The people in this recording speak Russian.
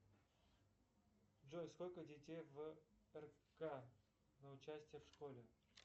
джой сколько детей в рк на участие в школе